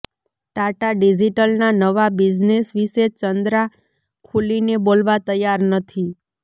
ટાટા ડિજિટલના નવા બિઝનેસ વિશે ચંદ્રા ખૂલીને બોલવા તૈયાર નથી